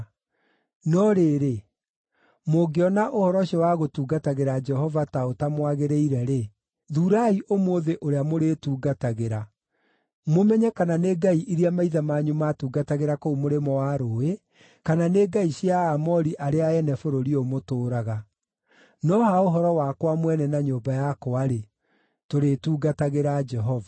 No rĩrĩ, mũngĩona ũhoro ũcio wa gũtungatagĩra Jehova ta ũtamwagĩrĩire-rĩ, thuurai ũmũthĩ ũrĩa mũrĩtungatagĩra, mũmenye kana nĩ ngai iria maithe manyu maatungatagĩra kũu mũrĩmo wa rũũĩ, kana nĩ ngai cia Aamori arĩa ene bũrũri ũyũ mũtũũraga. No ha ũhoro wakwa mwene na nyũmba yakwa-rĩ, tũrĩtungatagĩra Jehova.”